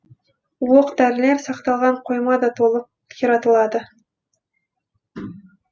оқ дәрілер сақталған қойма да толық қиратылады